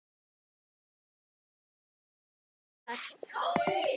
Voru æfingarnar réttar?